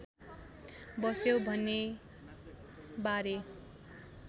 बस्यो भन्नेबारे